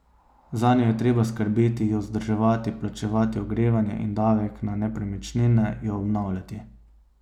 Zanjo je treba skrbeti, jo vzdrževati, plačevati ogrevanje in davek na nepremičnine, jo obnavljati.